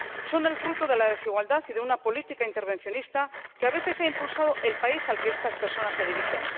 Son el fruto de la desigualdad y de una política intervencionista que, a veces, ha impulsado el país al que estas personas se dirigen.